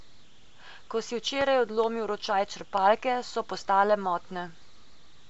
Ko si včeraj odlomil ročaj črpalke, so postale motne.